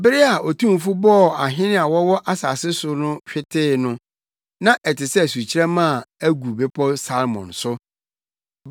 Bere a Otumfo bɔɔ ahene a wɔwɔ asase no so hwetee no, na ɛte sɛ sukyerɛmma a agu Bepɔw Salmon so.